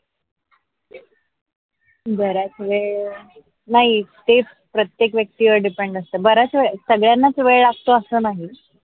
बराच वेळ नाही ते प्रत्येक व्यक्तीवर depend असतात बरास सगळ्यांना वेळ लागतो असा नाही.